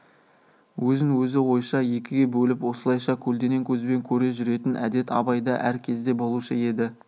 өзін-өзі ойша екіге бөліп осылайша көлденең көзбен көре жүретін әдет абайда әр кезде болушы еді